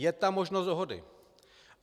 Je tam možnost dohody.